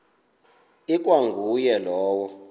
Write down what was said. ikwa nguye lowo